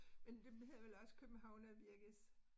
Men det hedder vel også Københavnerbirkes